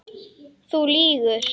Þú lýgur.